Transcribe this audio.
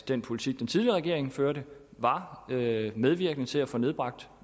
den politik den tidligere regering førte var medvirkende til at få nedbragt